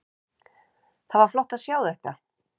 Það var flott að sjá þetta.